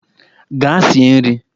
Gaa sie nri!